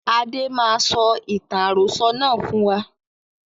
Adé máa sọ ìtàn àròsọ̀ náà fún wa